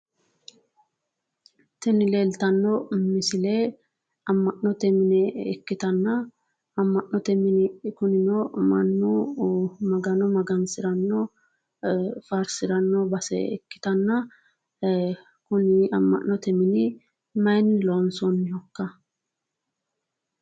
Tini leeltanno misile amma'note dana ikkitanna amma'note dani kunino mannu Magano magansiranno faarsiranno base ikkitanna ee kuni amma'note mine mayiinni loonsoonnikka?